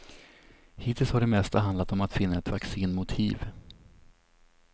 Hittills har det mesta handlat om att finna ett vaccin mot hiv.